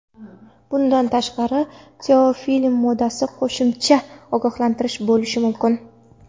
Bundan tashqari, teofillin moddasi qo‘shimcha ogohlantirish bo‘lishi mumkin.